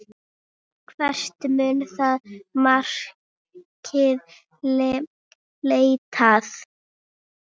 Hvert mun það markmið leiða?